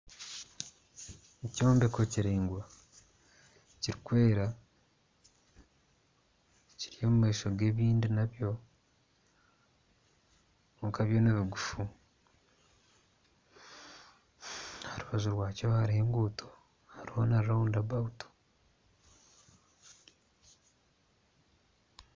Ekyombeko kiringwa kirikwera kiri omu maisho g'ebindi nabyo kwonka byo nibigufu aha rubaju hariho enguuto hariho na rawunda abawutu